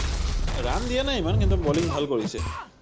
run দিয়া নাই ইমান কিন্তু বলিং ভাল কৰিছে